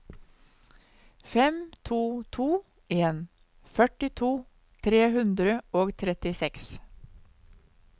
fem to to en førtito tre hundre og trettiseks